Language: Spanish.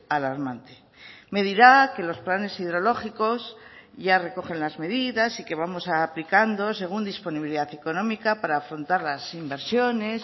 alarmante me dirá que los planes hidrológicos ya recogen las medidas y que vamos aplicando según disponibilidad económica para afrontar las inversiones